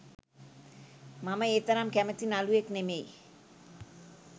මම ඒ තරම් කැමති නළුවෙක් නෙමෙයි.